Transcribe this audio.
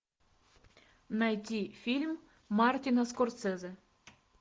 найти фильм мартина скорсезе